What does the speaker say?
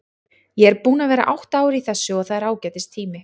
Ég er búinn að vera átta ár í þessu og það er ágætis tími.